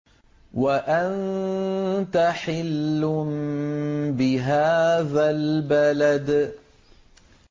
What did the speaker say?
وَأَنتَ حِلٌّ بِهَٰذَا الْبَلَدِ